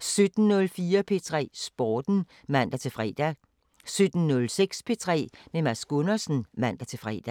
17:04: P3 Sporten (man-fre) 17:06: P3 med Mads Gundersen (man-fre)